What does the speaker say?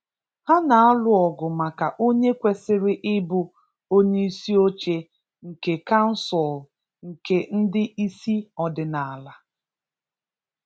Ha n'alụ ọgụ maka onye kwesịrị ịbụ onyeisi oche nke kansụl nke ndị isi ọdịnala.